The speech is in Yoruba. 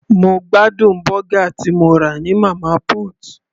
Mo gbádùn bọ́gà tí mo rà ní Mama put.